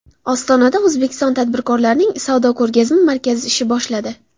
Ostonada O‘zbekiston tadbirkorlarining savdo-ko‘rgazma markazi ish boshladi.